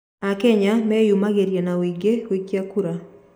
Akenya meyumĩragia na ũingĩ gũikia kuura